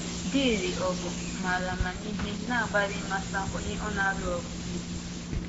Dị̣ịrị ọgụ maara amamihe na-agbalị ịmata onye ọ na-alụ ọgụ megide.